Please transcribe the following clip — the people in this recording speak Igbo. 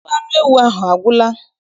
Ofe anụ ewu ahụ agwụla?